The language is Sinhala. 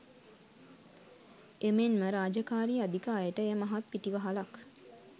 එමෙන්ම රාජකාරී අධික අයට එය මහත් පිටිවහලක්.